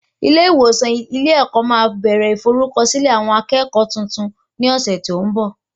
Ilé ìwòsàn ilé ẹ̀kọ́ máa bẹ̀rẹ̀ ìforúkọsílẹ̀ àwọn akẹ́kọ̀ọ́ tuntun ní ọ̀sẹ̀ tó ń bọ̀